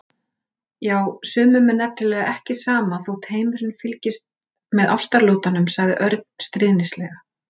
Já, sumum er nefnilega ekki alveg sama þótt heimurinn fylgist með ástaratlotunum sagði Örn stríðnislega.